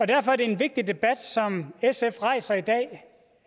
derfor er det en vigtig debat som sf rejser i dag